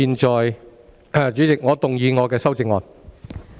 代理主席，我動議我的修正案。